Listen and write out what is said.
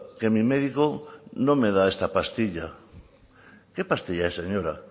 que mi médico no me da esta pastilla qué pastilla es señora